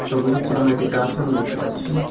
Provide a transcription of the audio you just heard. ছবিটিতে আমরা একটি ক্লাসরুম দেখতে পাচ্ছি।